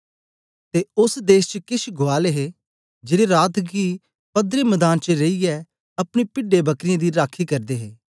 ते ओस देश च केछ गुआल हे जेड़े रात गी पदरे मदान च रेईयै अपनी पिढेंबकरीयें दी राखी करदे हे